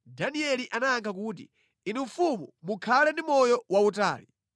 Danieli anayankha kuti, “Inu mfumu mukhale ndi moyo wautali!